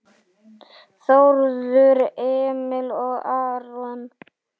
Þórður Emil og Aron